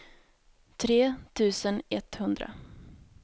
tre tusen etthundra